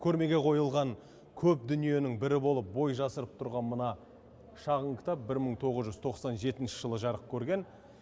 көрмеге қойылған көп дүниенің бірі болып бой жасырып тұрған мына шағын кітап бір мың тоғыз жүз тоқсан жетінші жылы жарық көрген